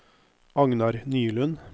Agnar Nylund